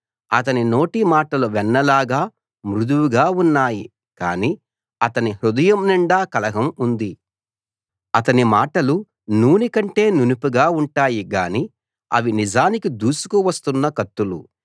అతని నోటి మాటలు వెన్నలాగా మృదువుగా ఉన్నాయి కాని అతని హృదయం నిండా కలహం ఉంది అతని మాటలు నూనె కంటే నునుపుగా ఉంటాయి గానీ అవి నిజానికి దూసుకు వస్తున్న కత్తులు